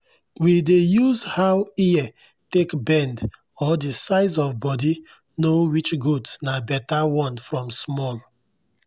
we dey use how ear take bend or the size of body know which goat na better one from small.